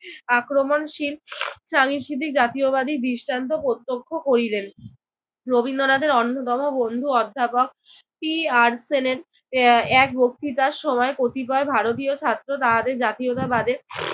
আক্রমণশীল সাংস্কৃতিক জাতীয়বাদী দৃষ্টান্ত প্রত্যক্ষ করিলেন। রবীন্দ্রনাথের অন্যতম বন্ধু অধ্যাপক টি আর সেলেন আহ এক বক্তৃতার সময় এক কতিপয় ভারতীয় ছাত্র তাহাদের জাতীয়তাবাদের